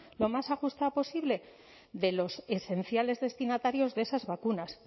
lo más ajustada posible de los esenciales destinatarios de esas vacunas